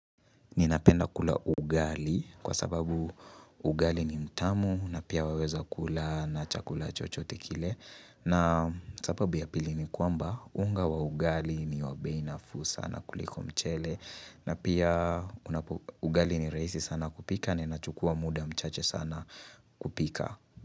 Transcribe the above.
Ninapenda kula ugali kwa sababu ugali ni mtamu na pia waweza kula na chakula chochote kile na sababu ya pili ni kwamba unga wa ugali ni wa bei nafu sana kuliko mchele na pia ugali ni rahisi sana kupika na inachukua muda mchache sana kupika.